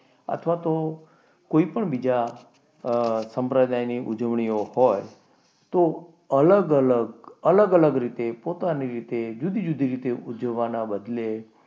અથવા તો કોઈ પણ બીજા સંપ્રદાયની ઉજવણી હોય તો અલગ અલગ, અલગ અલગ રીતે પોતાની રીતે, જુદી જુદી ઉજવવાના બદલે,